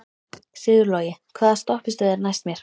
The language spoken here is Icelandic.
Sigurlogi, hvaða stoppistöð er næst mér?